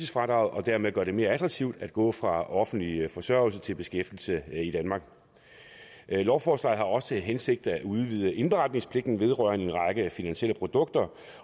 og dermed gør det mere attraktivt at gå fra offentlig forsørgelse til beskæftigelse i danmark lovforslaget har også til hensigt at udvide indberetningspligten vedrørende en række finansielle produkter